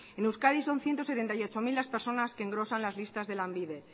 en euskadi son ciento setenta y ocho mil las personas que engrosan las listas de lanbide